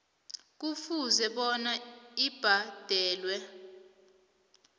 kufuze bona ibhadalwe